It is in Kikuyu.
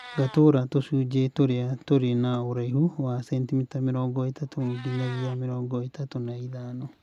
Gatũra tũcunjĩ tũrĩa tũrĩ na ũraihu wa centimitamĩrongo ĩtatũ nginyagia mĩrongo ĩtatũ na ithano